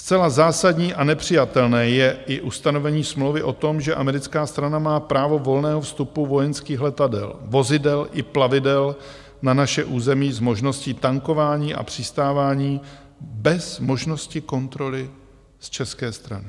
Zcela zásadní a nepřijatelné je i ustanovení smlouvy o tom, že americká strana má právo volného vstupu vojenských letadel, vozidel i plavidel na naše území s možností tankování a přistávání bez možnosti kontroly z české strany.